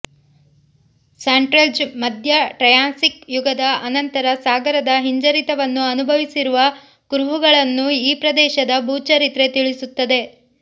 Salt Range ಮಧ್ಯ Triassic ಯುಗದ ಅನಂತರ ಸಾಗರದ ಹಿಂಜರಿತವನ್ನು ಅನುಭವಿಸಿರುವ ಕುರುಹುಗಳನ್ನು ಈ ಪ್ರದೇಶದ ಭೂ ಚರಿತ್ರೆ ತಿಳಿಸುತ್ತದೆ